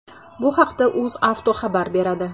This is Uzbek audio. Bu haqda UzAuto xabar beradi .